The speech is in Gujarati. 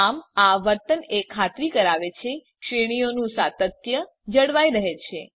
આમ આ વર્તન એ ખાતરી કરાવે છે કે શ્રેણીઓનું સાતત્ય જળવાઈ રહે છે